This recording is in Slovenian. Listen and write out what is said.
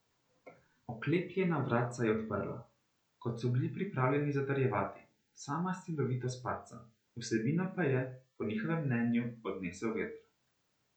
Oklepljena vratca je odprla, kot so bili pripravljeni zatrjevati, sama silovitost padca, vsebino pa je, po njihovem mnenju, odnesel veter.